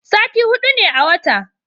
sati hudu ne a wata